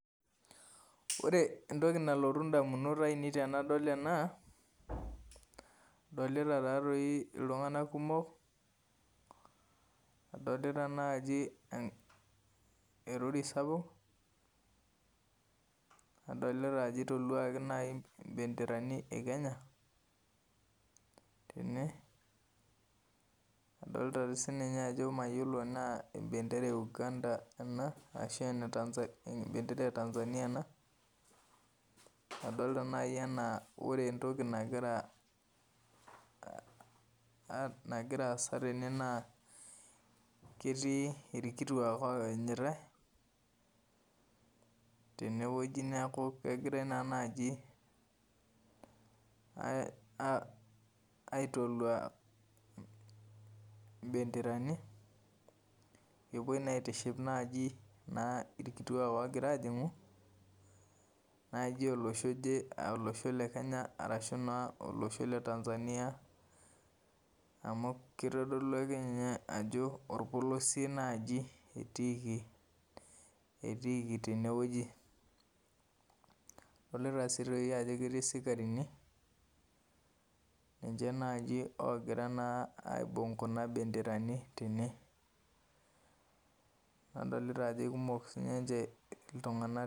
Ore entoki nalotu indamunot ainei tenadol ena adolita taa toi iltung'anak kumok, adolita naji erori sapuk, nadolita ajo eitoluaki nai imbenderani e Kenya tene, adolita dii sininye ajo mayiolo tenaa embendera e Uganda ena ashu ene Tanzan, embendera e Tanzania ena, adolita nai anaa ore entoki nagira ah aasa tene naa ketii ilkituaak oanyitai tenewueji neaku kegirai naa naji [aih] aitoluaa [im] imbenderani epuoi naa aitiship naji naa ilkituaak ogiraajing'u naji olosho oje aa olosho le kenya arashu naa olosho le Tanzania amu keitodolu akeninye ajo olpolosie naaji etiiki, etiiki tenewueji. Adolita sii toi ajo ketii sikarini ninche naji ogira naa aibung' kuna benderaji tene. Adolita ajo kumok siininche iltung'anak.